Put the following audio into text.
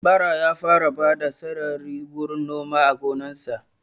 Bara ya fara bada sarari wurin noma a gonan sa